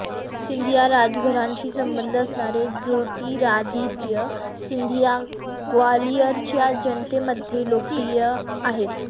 सिंधिया राजघराण्याशी संबंध असणारे ज्योतिरादित्य सिंधिंया ग्वालियरच्या जनतेमध्ये लोकप्रिय आहेत